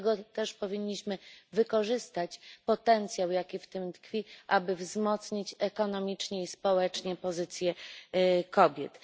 Dlatego też powinniśmy wykorzystać potencjał, jaki w tym tkwi, aby wzmocnić ekonomicznie i społecznie pozycję kobiet.